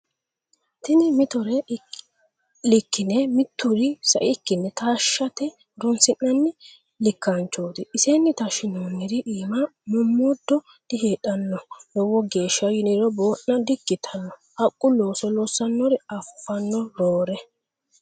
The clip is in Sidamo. Tini mittore likkine mituri saikkinni taashate horonsi'nanni likkanchoti isenni taashinonniri iima mommodo diheedhano lowo geeshsha yiniro boona di"ikkittano haqqu looso loossanori afano roore.